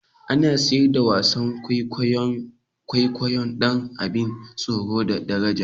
Ana siyar da wasan kwaikwayon kwaikwayo din abin tsoro da daraja